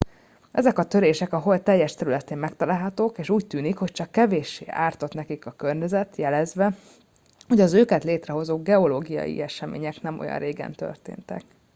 ezek a törések a hold teljes területén megtalálhatók és úgy tűnik hogy csak kevéssé ártott nekik a környezet jelezve hogy az őket létrehozó geológiai események nem olyan régen történtek